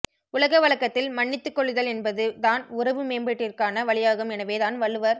உலக வழக்கத்தில் மன்னித்துக் கொள்ளுதல் என்பது தான் உறவு மேம்பாட்டிற்கான வழியாகும் எனவே தான் வள்ளுவர்